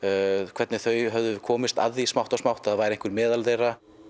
hvernig þeir höfðu komist að því smátt og smátt að það væri einhver meðal þeirra